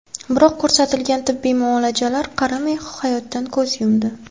Biroq ko‘rsatilgan tibbiy muolajalarga qaramay, hayotdan ko‘z yumdi.